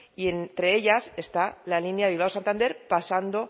y entre ellas está la línea bilbao santander pasando